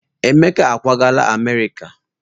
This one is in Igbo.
Emeka ákwàgala Amerịka.